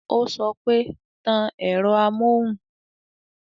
Ó sọ pé "Tan ẹ̀rọ amóhùn"